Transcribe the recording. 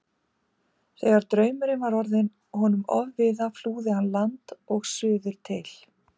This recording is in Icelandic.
Þegar draumurinn var orðinn honum ofviða flúði hann land og suður til